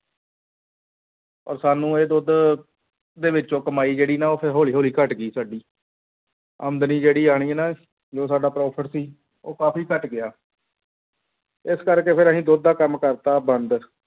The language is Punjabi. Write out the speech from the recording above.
ਔਰ ਸਾਨੂੰ ਇਹ ਦੁੱਧ ਦੇ ਵਿੱਚੋਂ ਕਮਾਈ ਜਿਹੜੀ ਨਾ ਉਹ ਫਿਰ ਹੌਲੀ ਹੌਲੀ ਘੱਟ ਗਈ ਸਾਡੀ, ਆਮਦਨੀ ਜਿਹੜੀ ਆਉਣੀ ਨਾ ਜੋ ਸਾਡਾ profit ਸੀ ਉਹ ਕਾਫ਼ੀ ਘੱਟ ਗਿਆ ਇਸ ਕਰਕੇ ਫਿਰ ਅਸੀਂ ਦੁੱਧ ਦਾ ਕੰਮ ਕਰ ਦਿੱਤਾ ਬੰਦ।